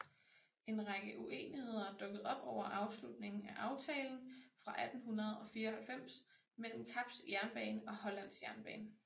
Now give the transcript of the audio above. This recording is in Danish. En række uenigheder dukkede op over afslutningen af aftalen fra 1894 mellem Kaps jernbane og Hollands jernbane